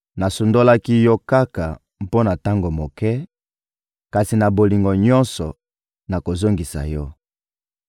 Nasundolaki yo kaka mpo na tango moke; kasi na bolingo nyonso, nakozongisa yo.